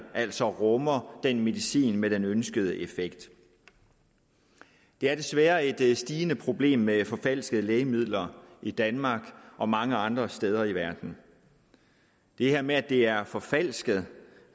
altså rummer den medicin med den ønskede effekt det er desværre et stigende problem med forfalskede lægemidler i danmark og mange andre steder i verden det her med at det er forfalsket